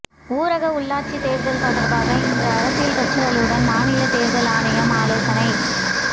ஊரக உள்ளாட்சி தேர்தல் தொடர்பாக இன்று அரசியல் கட்சிகளுடன் மாநில தேர்தல் ஆணையம் ஆலோசனை